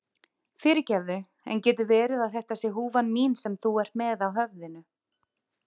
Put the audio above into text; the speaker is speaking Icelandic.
Fyrirgefðu, en getur verið að þetta sé húfan mín sem þú ert með á höfðinu?